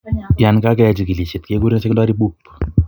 Yaan kageyai chigilisiet keguren secondary BOOP